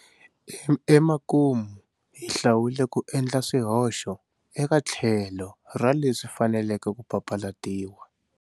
Emakumu hi hlawule ku endla swihoxo eka tlhelo ra leswi faneleke ku papalatiwa.